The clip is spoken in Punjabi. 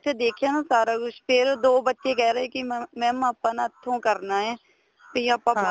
ਦੇਖਿਆ ਨਾ ਉੱਥੇ ਸਾਰਾ ਕੁੱਝ ਫੇਰ ਦੋ ਬੱਚੇ ਕਹਿ ਰਹੇ ਕੀ mamਆਪਾਂ ਨਾ ਇੱਥੋ ਕਰਨਾ ਏ ਤੇ ਆਪਾਂ ਬਾਹਰ